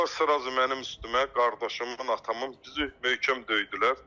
Qaşdılar sırazu mənim üstümə, qardaşımın, atamın bizi möhkəm döydülər.